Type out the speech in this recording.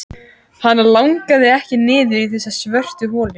Hana langaði ekki niður í þessa svörtu holu.